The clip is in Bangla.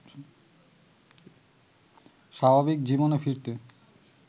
স্বাভাবিক জীবনে ফিরতে